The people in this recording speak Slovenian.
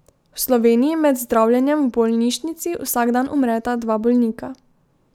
V Sloveniji med zdravljenjem v bolnišnici vsak dan umreta dva bolnika.